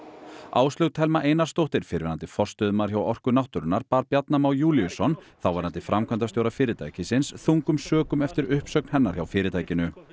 Áslaug Thelma Einarsdóttir fyrrverandi forstöðumaður hjá Orku náttúrunnar bar Bjarna Má Júlíusson þáverandi framkvæmdastjóra fyrirtækisins þungum sökum eftir uppsögn hennar hjá fyrirtækinu